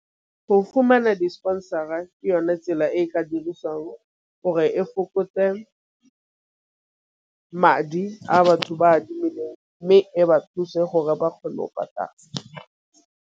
Go fumana di-sponsor-a ke yone tsela e ka dirisang gore e fokotse madi a batho ba a adimileng, mme e ba thuse gore ba kgone .